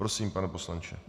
Prosím, pane poslanče.